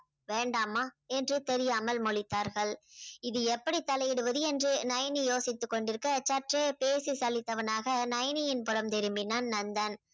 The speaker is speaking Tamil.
வேண்டாமா என்று தெரியாமல் முழித்தார்கள். இது எப்படி தலையிடுவது என்று நயனி யோசித்து கொண்டிருக்க சற்றே பேசி சளித்தவனாக நயனியின் புரம் திரும்பினான் நந்தன்.